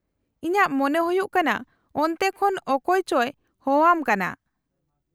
-ᱤᱧᱟᱹᱜ ᱢᱚᱱᱮ ᱦᱩᱭᱩᱜ ᱠᱟᱱᱟ ᱚᱱᱛᱮ ᱠᱷᱚᱱ ᱚᱠᱚᱭ ᱪᱚᱭ ᱦᱚᱦᱚᱣᱟᱢ ᱠᱟᱱᱟ ᱾